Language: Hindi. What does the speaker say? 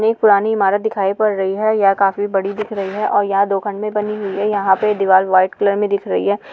एक पुरानी इमारत दिखाई पड रही है यह काफि बडी दिख रही है और यहाँ दो बनि हुई है यहाँ पे दिवार व्हाईट कलर मे दिख रही है।